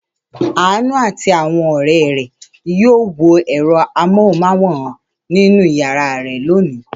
Àánú àti àwọn ọ̀rẹ́ rẹ̀ yóò wo ẹ̀rọ amóhùmáwòhán nínú ìyàrá rẹ̀ lónìí.